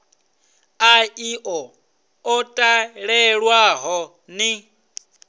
ha iḽo ḽo talelwaho ni